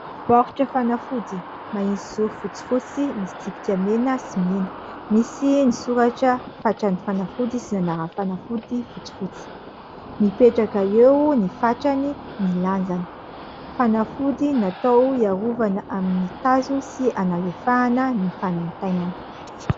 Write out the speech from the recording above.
Baoritra fanafody mahitsy zoro fotsifotsy, misy tsipika mena sy mena. Misy ny soratra fatran'ny fanafody sy ny anaran'ny fanafody fotsifotsy. Mipetraka eo ny fatrany, ny lanjany. Fanafody natao hiarovana amin'ny tazo sy hanalefahana ny fanaintainana.